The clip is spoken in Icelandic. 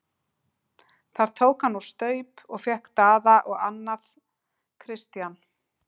Þar tók hann úr staup og fékk Daða og annað Christian.